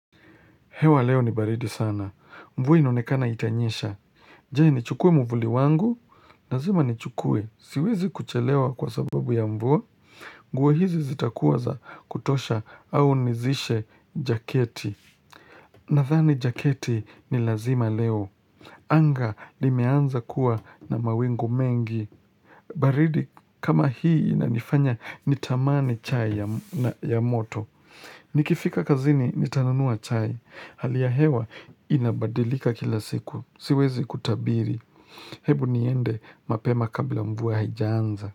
Hewa leo ni baridi sana. Mvua inonekana itanyesha. Je, nichukue mvuli wangu? Lazima nichukue. Siwezi kuchelewa kwa sababu ya mvua. Nguo hizi zitakuwa za kutosha au nizishe jaketi. Nadhani jaketi ni lazima leo. Anga limeanza kuwa na mawingu mengi. Baridi kama hii inanifanya nitamani chai ya moto. Nikifika kazini nitanunua chai. Hali ya hewa inabadilika kila siku. Siwezi kutabiri. Hebu niende mapema kabla mvua haijaanza.